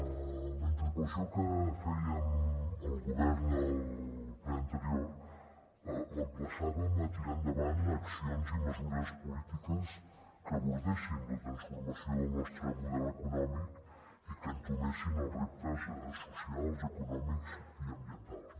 en la interpel·lació que fèiem al govern al ple anterior l’emplaçàvem a tirar endavant ac·cions i mesures polítiques que abordessin la transformació del nostre model econò·mic i que entomessin els reptes socials econòmics i ambientals